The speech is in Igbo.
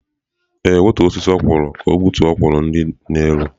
Ee, wetuọ osịsị okwụrụ ka ọ gbutuo okwụrụ di n'elu.